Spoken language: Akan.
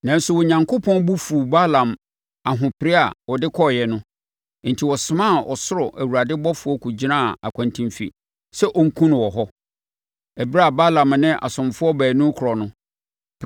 Nanso, Onyankopɔn bo fuu Balaam ahopere a ɔde kɔeɛ no; enti ɔsomaa ɔsoro Awurade ɔbɔfoɔ kɔgyinaa akwantemfi sɛ ɔnkum no wɔ hɔ. Ɛberɛ a Balaam ne asomfoɔ baanu rekorɔ no,